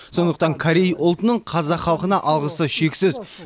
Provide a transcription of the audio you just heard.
сондықтан корей ұлтының қазақ халқына алғысы шексіз